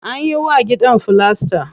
Anyi wa gidan filasta.